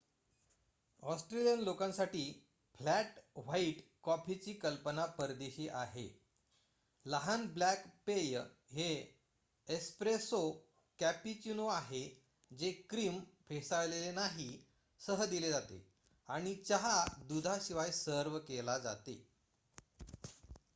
Australian लोकांसाठी 'flat white' कॉफीची कल्पना परदेशी आहे. लहान ब्लॅक पेय हे 'एस्प्रेसो' कॅपुचीनो आहे जे क्रीम फेसाळलेले नाही सह दिले जाते आणि चहा दुधाशिवाय सर्व्ह केले जाते